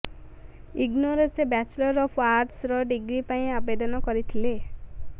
ଇଗ୍ନୋରେ ସେ bachelor of ଆର୍ଟସର degree ପାଇଁ ଆବେଦନ କରିଥିଲେ